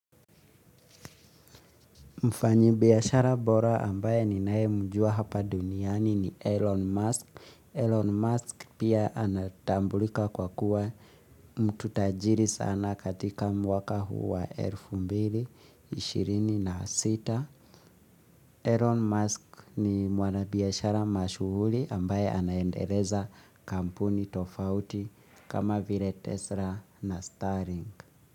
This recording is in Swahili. Mfanyi biashara bora ambaye ninaye mjua hapa duniani ni Elon Musk. Elon Mask pia anatambulika kwa kuwa mtu tajiri sana katika mwaka huu wa elfu mbili, ishirini na sita(2026). Elon Musk ni mwana biashara mashuhuri ambaye anaendeleza kampuni tofauti kama vile tesla na starring.